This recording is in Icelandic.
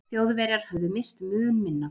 Þjóðverjar höfðu misst mun minna.